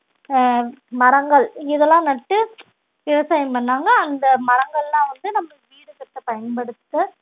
ஆஹ் மரங்கள் இதெல்லாம் நட்டு விவசாயம் பண்ணாங்க அந்த மரங்கள்லாம் வந்து நம்ம வீடு கட்ட பயன்படுத்த